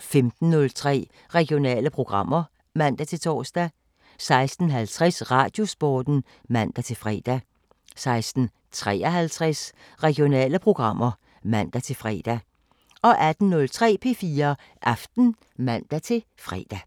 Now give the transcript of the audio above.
15:03: Regionale programmer (man-tor) 16:50: Radiosporten (man-fre) 16:53: Regionale programmer (man-fre) 18:03: P4 Aften (man-fre)